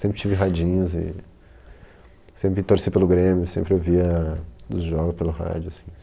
Sempre tive radinhos e sempre torci pelo Grêmio, sempre ouvia os jogos pelo rádio, assim.